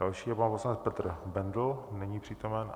Další je pan poslanec Petr Bendl, není přítomen.